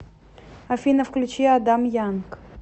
афина включи адам янг